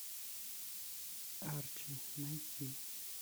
арчи найти